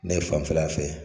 Ne fanfɛla fɛ